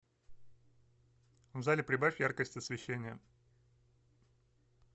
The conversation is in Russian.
в зале прибавь яркость освещения